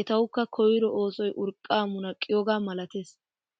etawukka koyro oosoy urqqaa munaqqiyoogaa malatees.